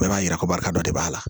Bɛɛ b'a yira ko barika dɔ de b'a la